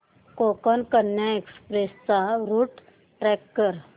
Konkan Kanya express चा route track कर